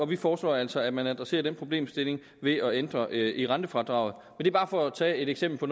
vi foreslår altså at man adresserer den problemstilling ved at ændre i rentefradraget det er bare for at tage et eksempel på